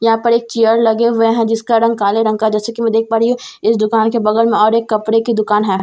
यहां पर एक चेयर लगे हुए हैं जिसका रंग काले रंग का जैसे कि मैं देख पा रही हूं इस दुकान के बगल में और एक कपड़े की दुकान है।